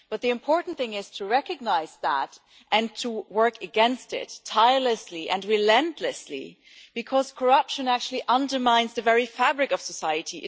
But the important thing is to recognise that and to work against it, tirelessly and relentlessly, because corruption actually undermines the very fabric of society.